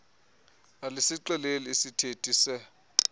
alisixeleli iisithethi se